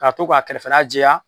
K'a to k'a kɛrɛfɛla jɛya